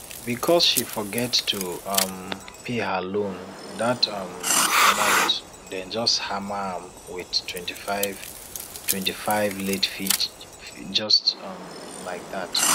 because she forget to um pay her loan that um month dem just hammer am with 25 25 late fee just um like that